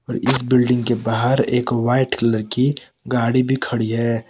इस बिल्डिंग के बाहर एक वाइट कलर गाड़ी भी खड़ी है।